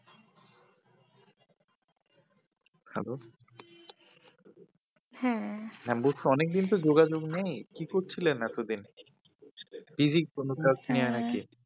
ভালো, হ্যাঁ হ্যাঁ বলছি অনেকদিন তো যোগাযোগ নেই, কি করছিলেন এতো দিন? TV এর কোনো কাজ নিয়ে নাকি।